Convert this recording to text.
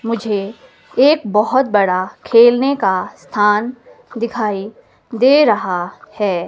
मुझे एक बहुत बड़ा खेलने का स्थान दिखाई दे रहा है।